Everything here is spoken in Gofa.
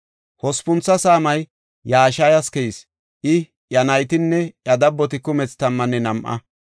Hospuntho saamay Yashayas keyis; I, iya naytinne iya dabboti kumethi tammanne nam7a.